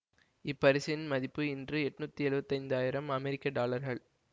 இப்பரிசின் மதிப்பு இன்று ஏன்டனுற்றி எழுவத்தயைந்து அமெரிக்க டாலர்கள்